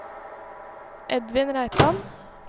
Edvin Reitan